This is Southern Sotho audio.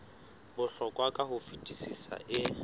bohlokwa ka ho fetisisa e